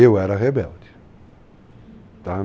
Eu era rebelde. Uhum... Tá?